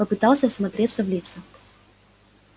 попытался всмотреться в лица